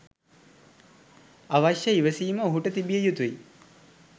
අවශ්‍ය ඉවසීම ඔහුට තිබිය යුතුයි.